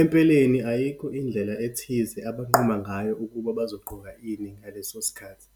Empeleni, ayikho indlela ethize abanquma ngayo ukuba bazogqoka ini, ngaleso sikhathi.